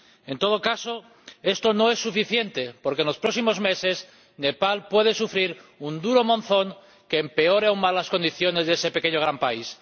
En todo caso, esto no es suficiente, porque los próximos meses Nepal puede sufrir un duro monzón que empeore aún más las condiciones de ese pequeño gran país.